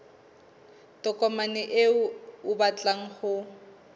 tokomane eo o batlang ho